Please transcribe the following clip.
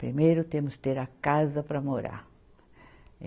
Primeiro temos que ter a casa para morar.